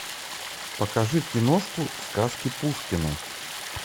покажи киношку сказки пушкина